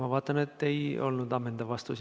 Ma vaatan, et see ei olnud ammendav vastus.